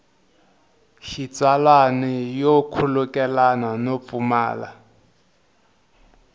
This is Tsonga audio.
xitsalwana yo khulukelana no pfumala